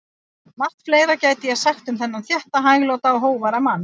Margt fleira gæti ég sagt um þennan þétta, hægláta og hógværa mann.